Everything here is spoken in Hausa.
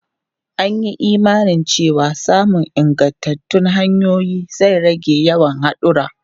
An yi imanin cewa samun ingantattun hanyoyi zai rage yawan hadura.